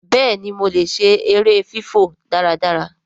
béèni mọ lẹ ṣe èrè fifọ dáradára.